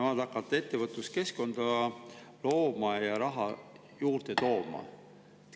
Nad hakkavad ettevõtluskeskkonda looma ja raha juurde tooma.